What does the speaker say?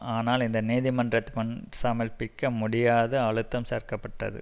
ஆனால் இந்த நீதிமன்றத்திமுன் சமர்ப்பிக்க முடியாது அழுத்தம் சேர்க்க பட்டது